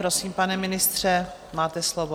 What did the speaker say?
Prosím, pane ministře, máte slovo.